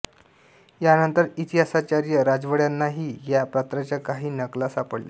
यानंतर इतिहासाचार्य राजवाड्यांनाही या पत्राच्या काही नकला सापडल्या